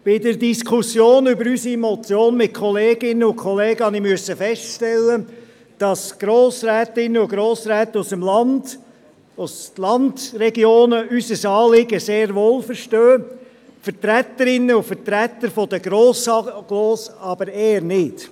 Bei der Diskussion über unsere Motion mit Kolleginnen und Kollegen musste ich feststellen, dass Grossrätinnen und Grossräte aus ländlichen Regionen unser Anliegen sehr wohl verstehen, Vertreterinnen und Vertreter der Grossagglomerationen aber eher nicht.